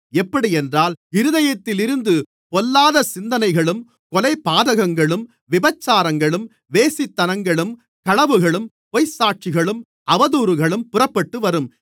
எப்படியென்றால் இருதயத்திலிருந்து பொல்லாத சிந்தனைகளும் கொலைபாதகங்களும் விபசாரங்களும் வேசித்தனங்களும் களவுகளும் பொய்ச்சாட்சிகளும் அவதூறுகளும் புறப்பட்டுவரும்